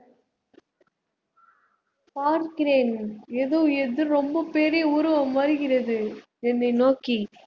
பார்க்கிறேன் எதோ எதோ ரொம்ப பெரிய உருவம் வருகிறது என்னை நோக்கி